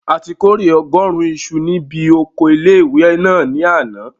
A ti kórè ọgọ́rùn isu ní bi oko ilé-ìwé náà ní àná